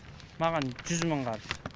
маған жүз мың қарыз